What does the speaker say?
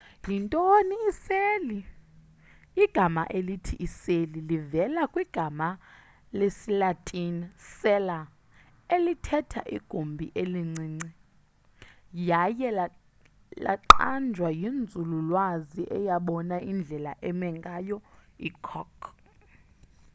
yintoni iseli igama elithi iseli livela kwigama lesilatini cella elithetha igumbi elincinci yaye laqanjwa yinzululwazi eyabona indlela eme ngayo i-cork